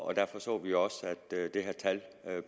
og derfor så vi også at det her tal